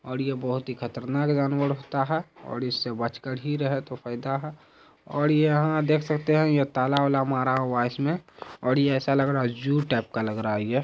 और यह बहुत ही खतरनाक जानवर लगता है। और इससे बचकर ही रहे तो फायदा है। और यहां देख सकते हैं ये ताला-वाला मारा हुआ है इसमें और ऐसा लग रहा है एक जू टाइप का लग रहा है ये।